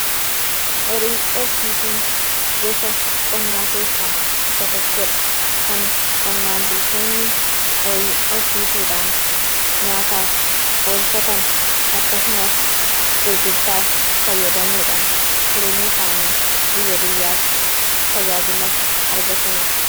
Horii horsiisuun, gosa qonnaa keessaa isa tokkoo dha. Kan qonnaan bultoonni horii horsiisuudhaan ,nyaataaf oolfatan akkasumas gurgurtaaf fayyadamuudhaan jireenya isaanii guyya guyyaatti tajaajila argataniidha.